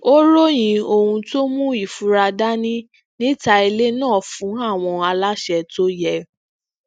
ó ròyìn ohun tó mu ifura dani níta ilé náà fún àwọn aláṣẹ tó yẹ